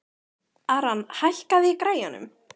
Aran, hækkaðu í græjunum.